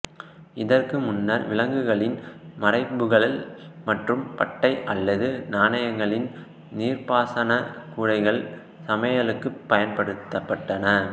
இதற்கு முன்னர் விலங்குகளின் மறைப்புகள் மற்றும் பட்டை அல்லது நாணல்களின் நீர்ப்பாசன கூடைகள் சமையலுக்கு பயன்படுத்தப்பட்டன